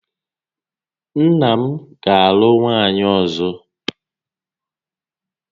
Nna m ga alụ nwaanyị ọzọ